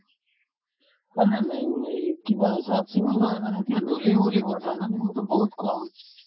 মানে main হেৰি কিবা চাফ-চিকুণতোয়ে মানে এতিয়া ধূলি উৰিব ঠাণ্ডা দিনততো বহুত কম